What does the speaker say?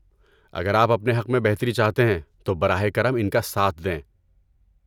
اگر آپ اپنے حق میں بہتری چاہتے ہیں تو براہ کرم ان کا ساتھ دیں۔